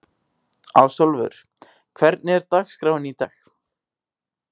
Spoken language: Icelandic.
Ásólfur, hvernig er dagskráin í dag?